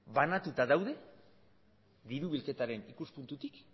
banatuta daude diru bilketaren ikuspuntutik